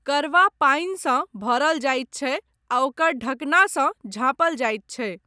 करवा पानिसँ भरल जाइत छै आ ओकर ढकनासँ झाँपल जाइत छै।